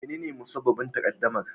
Menene musabbabin takaddamar?